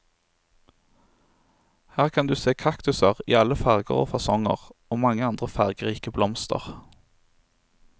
Her kan du se kaktuser i alle farger og fasonger og mange andre fargerike blomster.